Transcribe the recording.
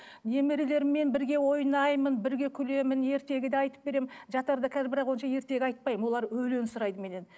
немерелерімен бірге ойнаймын бірге күлемін ертегі де айтып беремін жатарда қазір бірақ онша ертегі айтпаймын олар өлең сұрайды менен